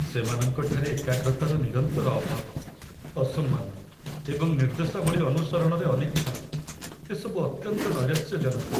ସେମାନଙ୍କଠାରେ ଏକାଗ୍ରତାର ନିରନ୍ତର ଅଭାବ, ଅସମ୍ମାନ, ଏବଂ ନିର୍ଦ୍ଦେଶାବଳୀ ଅନୁସରଣରେ ଅନିଚ୍ଛା ଏସବୁ ଅତ୍ୟନ୍ତ ନୈରାଶ୍ୟଜନକ।